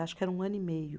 Acho que era um ano e meio.